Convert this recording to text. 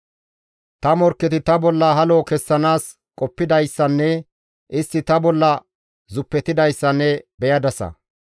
Ta morkketi ta bolla halo kessanaas qoppidayssanne istti ta bolla zuppetidayssa ne beyadasa.